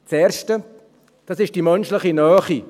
Das Erste ist die menschliche Nähe.